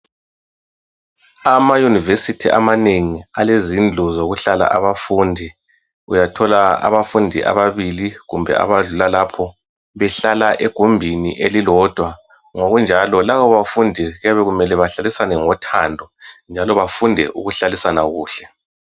Ama University amanengi alezindlu zokuhlala abafundi. Uyathola abafundi ababili kumbe abadlula lapho behlala egumbini elilodwa. Ngokunjalo labo bafundi kuyabe kumele behlalisane ngothando njalo bafunde ukuhlalisana kuhle